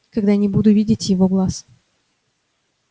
когда не буду видеть его глаз